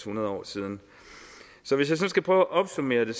nul år siden så hvis jeg skal prøve at opsummere det